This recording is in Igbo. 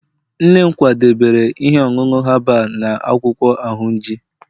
nne m kwadebere ihe ọṅụṅụ herbal na akwụkwọ ahunji